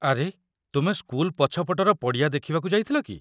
ଆରେ, ତୁମେ ସ୍କୁଲ ପଛପଟର ପଡ଼ିଆ ଦେଖିବାକୁ ଯାଇଥିଲ କି?